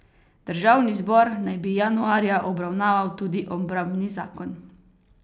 Državni zbor naj bi januarja obravnaval tudi obrambni zakon.